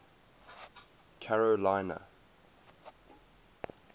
carolina